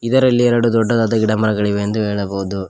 ಇದರಲ್ಲಿ ಎರಡು ದೊಡ್ಡದಾದ ಗಿಡಮರಗಳಿವೆ ಎಂದು ಹೇಳಬಹುದು.